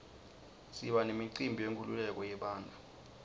siba nemicimbi yenkululeko yebantfu